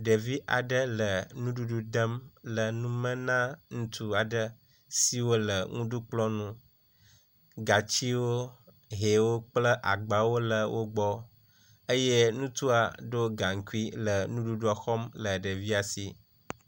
Ɖevi aɖe le nuɖuɖu dem le nume na ŋutsu aɖe siwo le nuɖukplɔ ŋu. Gatsiwo, hẽwo kple agbawo le wogbɔ eye ŋutsua ɖɔ gaŋkui le nuɖuɖua xɔm le ɖevia si.